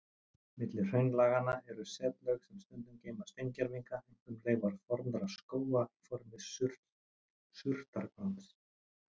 Milli hraunlaganna eru setlög sem stundum geyma steingervinga, einkum leifar fornra skóga í formi surtarbrands.